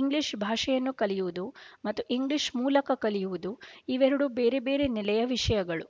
English ಭಾಷೆಯನ್ನು ಕಲಿಯುವುದು ಮತ್ತು ಇಂಗ್ಲೀಷ್ ಮೂಲಕ ಕಲಿಯುವುದು ಇವೆರಡು ಬೇರೆಬೇರೆ ನೆಲೆಯ ವಿಷಯಗಳು